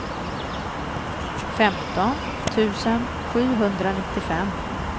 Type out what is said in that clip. femton tusen sjuhundranittiofem